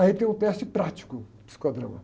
Aí tem o teste prático, psicodrama.